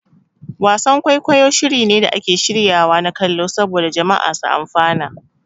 Wasan-kwaikwayi shiri ne da ake shiryawa na kallo saboda jama'a su amfana.